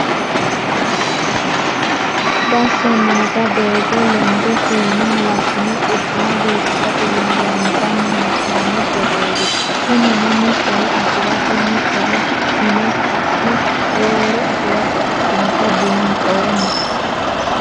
Basho nootta doogo lende fiine halashine quchuma biifissate yine loonsanni hee'nonni gedeti kunino mittore afirate mittore hune ka'ne roorore afirate ikkinotta buuxoommo.